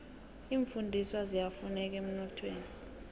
iimfundiswa ziyafuneka emnothweni